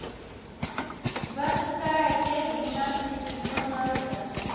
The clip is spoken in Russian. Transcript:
двадцать вторая часть двенадцатый сезон наруто